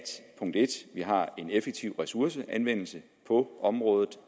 vi har en effektiv ressourceanvendelse på området